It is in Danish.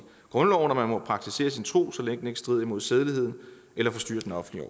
grundloven at man må praktisere sin tro så længe den ikke strider imod sædeligheden eller forstyrrer den offentlige